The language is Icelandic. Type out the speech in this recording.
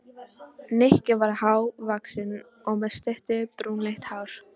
Nikki var há- vaxinn og með stutt, brúnleitt hár.